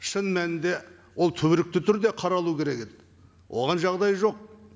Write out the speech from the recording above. шын мәнінде ол түбіректі түрде қаралу керек еді оған жағдай жоқ